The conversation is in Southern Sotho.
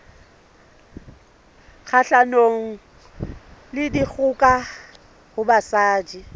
kgahlanong le dikgoka ho basadi